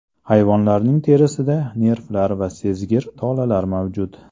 Hayvonlarning terisida nervlar va sezgir tolalar mavjud.